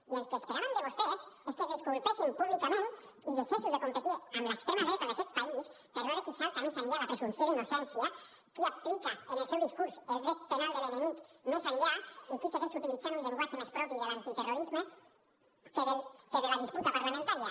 i el que esperàvem de vostès és que es disculpessin públicament i deixéssiu de competir amb l’extrema dreta d’aquest país per veure qui es salta més enllà la presumpció d’innocència qui aplica en el seu discurs el dret penal de l’enemic més enllà i qui segueix utilitzant un llenguatge més propi de l’antiterrorisme que de la disputa parlamentària